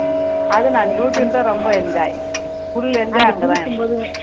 அதுவும் நானு youtube ரொம்ப enjoy full enjoy அங்க தான் எனக்கு